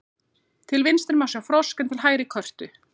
Til vinstri má sjá frosk en til hægri körtu.